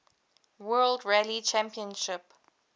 world rally championship